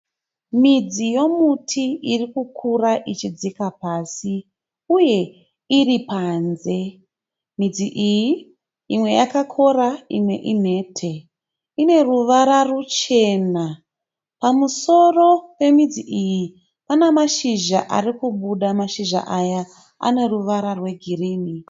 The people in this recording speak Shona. Midzi yomuti irikukura ichidzika pasi uye iripanze. Midzi iyi imwe yakakora imwe inhete ine ruvara ruchena. Pamusoro pemidzi iyi pane mashizha arikubuda mashizha aya ane ruwara rwe girini.